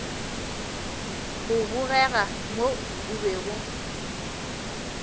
go bogega mo o bego